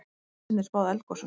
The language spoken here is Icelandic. Geta vísindin spáð eldgosum?